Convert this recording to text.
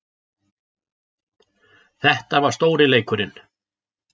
Þetta var stóri leikurinn